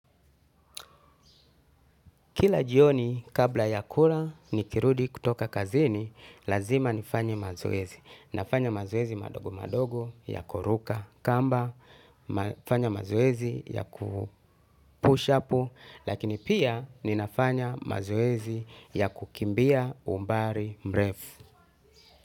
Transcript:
Kila jioni kabla ya kula nikirudi kutoka kazini, lazima nifanye mazoezi. Nafanya mazoezi madogo madogo ya kuruka kamba, nafanya mazoezi ya kupush apu, lakini pia ninafanya mazoezi ya kukimbia umbari mrefu.